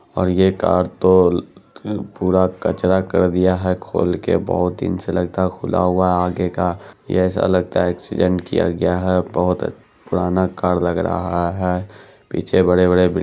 और ये कार तो पूरा कचरा कर दिया है खोल के बहुत दिन से लगता है खुला हुआ है आगे का ये ऐसा लगता है एक्सीडेट किया गया है बोहोत पुराना कार लग रहा है पीछे बड़े-बड़े बिल--